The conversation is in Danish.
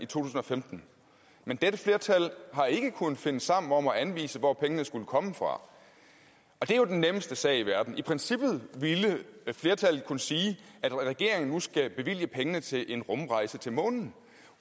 tusind og femten men dette flertal har ikke kunnet finde sammen om at anvise hvor pengene skulle komme fra og det er jo den nemmeste sag i verden i princippet ville flertallet kunne sige at regeringen nu skal bevilge pengene til en rumrejse til månen